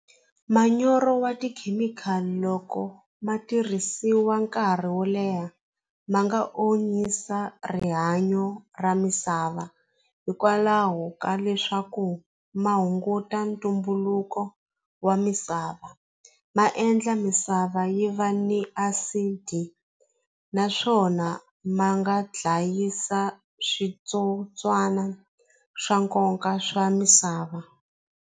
Manyoro wa tikhemikhali loko ma tirhisiwa nkarhi wo leha ma nga onisa rihanyo ra misava hikwalaho ka leswaku ma hunguta ntumbuluko wa misava ma endla misava yi va ni acid naswona ma nga dlayisa switsotswana swa nkoka swa misava.